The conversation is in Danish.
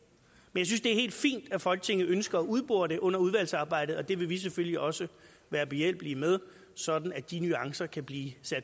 jeg synes det er helt fint at folketinget ønsker et udbore det under udvalgsarbejdet og det vil vi selvfølgelig også være behjælpelige med sådan at de nuancer kan blive